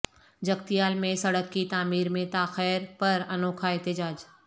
جگتیال میں سڑک کی تعمیر میں تاخیر پر انوکھا احتجاج